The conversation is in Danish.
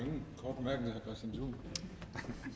går videre